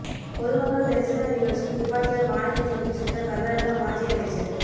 பொதுமக்கள் தரிசன நிகழ்ச்சியில் துப்பாக்கியால் வானத்தை நோக்கி சுட்ட கர்நாடக மாஜி அமைச்சர்